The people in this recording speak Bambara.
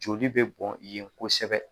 Joli bɛ bɔn yen kosɛbɛ